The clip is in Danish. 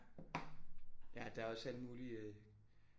Ja der er også alle mulige